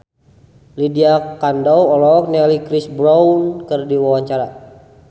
Lydia Kandou olohok ningali Chris Brown keur diwawancara